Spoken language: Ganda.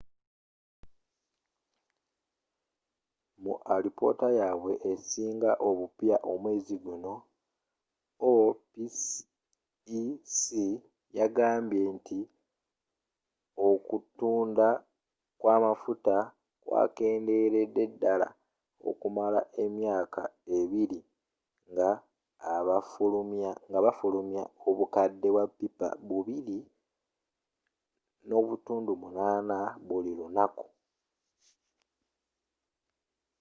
mu alipoota yabwe esinga obupya omwezi guno opec yagamba nti okutunda kw'amafuta kwakenderedde ddala okumala emyaka abbiri nga bafulumya obukadde bwa pippa 2.8 buli lunaku